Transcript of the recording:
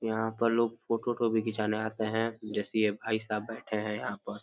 यहाँ पर लोग फोटो ओटो भी खिचाने आते हैं जैसे ये भाई साहब बैठे हैं यहाँ पर।